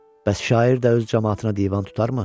Bəs şair də öz camaatına divan tutarmı?